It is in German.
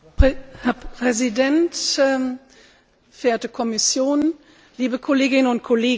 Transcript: Herr Präsident, verehrte Kommission, liebe Kolleginnen und Kollegen!